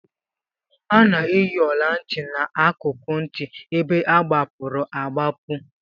A na-eyi ọla ntị n'akụkụ ntị ebe agbapụrụ agbapu